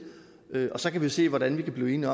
og så kan vi jo se hvordan der kan blive